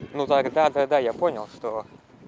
ну тогда когда я понял что